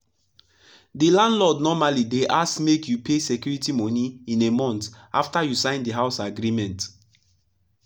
the landlord normally dey ask make you pay security moni in a month after you sign the house agreement.